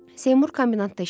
Seymur kombinatda işləyirdi.